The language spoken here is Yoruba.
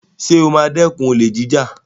Sọ ma dẹ́kun olè jíjà?